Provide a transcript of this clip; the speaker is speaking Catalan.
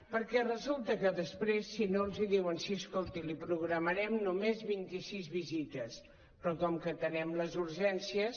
perquè resulta que després si no els diuen sí escolti li programarem només vint i sis visites però com que atenem les urgències